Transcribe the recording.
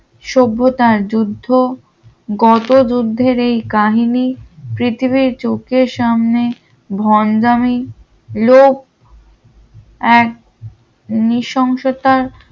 সভ্যতার যুদ্ধ কত যুদ্ধের এই কাহিনী পৃথিবীর চোখের সামনে ভন্ডামী লোক এক নৃশংসতার